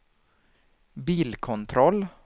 bilkontroll